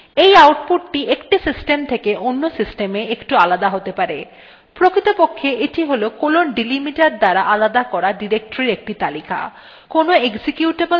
প্রকৃতপক্ষে এইটি : colon delimiter দ্বারা আলাদা করা ডিরেক্টরীর একটি তালিকা কোনো executable command এর জন্য shell এই তালিকার ডিরেক্টরীগুলিকে পরপর অনুসন্ধান করে